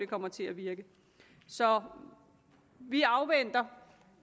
kommer til at virke så vi afventer